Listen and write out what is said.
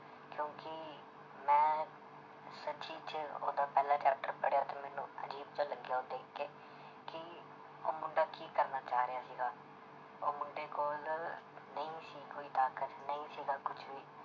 ਸੱਚੀ 'ਚ ਉਹਦਾ ਪਹਿਲਾ chapter ਪੜ੍ਹਿਆ ਤੇ ਮੈਨੂੰ ਅਜ਼ੀਬ ਜਿਹਾ ਲੱਗਿਆ ਉਹ ਦੇਖ ਕੇ ਕਿ ਉਹ ਮੁੰਡਾ ਕੀ ਕਰਨਾ ਚਾਹ ਰਿਹਾ ਸੀਗਾ, ਉਹ ਮੁੰਡੇ ਕੋਲ ਨਹੀਂ ਸੀ ਕੋਈ ਤਾਕਤ ਨਹੀਂ ਸੀਗਾ ਕੁਛ ਵੀ